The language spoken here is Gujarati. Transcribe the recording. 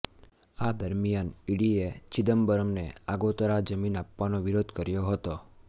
આ દરમિયાન ઇડીએ ચિદમ્બરમને આગોતરા જામીન આપવાનો વિરોધ કર્યો હતો